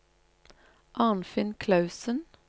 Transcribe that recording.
Arnfinn Clausen